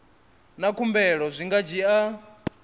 na khumbelo zwi nga dzhia